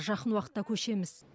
жақын уақытта көшеміз